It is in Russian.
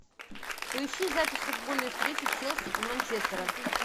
поищи запись футбольной встречи челси и манчестера